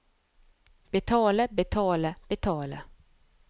betale betale betale